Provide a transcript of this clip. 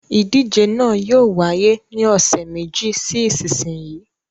Ìdíje náà yóò wáyé ní ọ̀sẹ̀ méjì sí ìsinsìnyí.